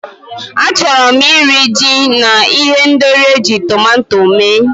Achọrọ m iri, ji na ihendori eji tọmatọ mee.